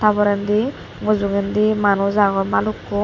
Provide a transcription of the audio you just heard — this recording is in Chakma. tar porendi mujogendi manuj agon balukkon.